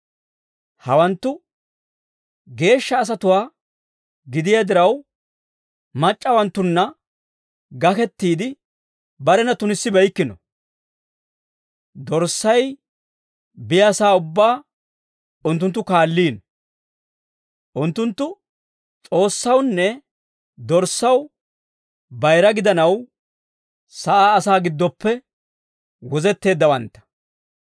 Hawanttu geeshsha asatuwaa gidiyaa diraw, mac'c'awanttunna gakettiide barena tunissibeykkino. Dorssay biyaasaa ubbaa unttunttu kaalliino. Unttunttu S'oossawunne Dorssaw bayira gidanaw, sa'aa asaa giddoppe wozetteeddawantta.